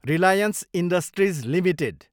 Reliance Industries Ltd